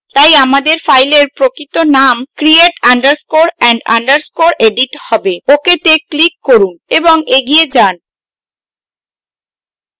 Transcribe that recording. তাই আমাদের file প্রকৃত name create underscore and underscore edit হবে ok তে click করুন এবং এগিয়ে যান